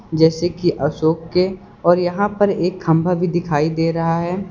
जैसे कि अशोक के और यहां पर एक खंभा भी दिखाई दे रहा है।